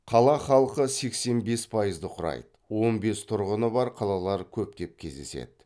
қала халқы сексенбес пайызды құрайды он бес тұрғыны бар қалалар көптеп кездеседі